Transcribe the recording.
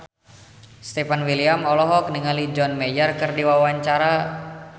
Stefan William olohok ningali John Mayer keur diwawancara